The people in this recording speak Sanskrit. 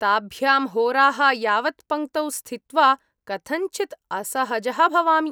ताभ्यां होराः यावत् पङ्क्तौ स्थित्वा कथञ्चित् असहजः भवामि।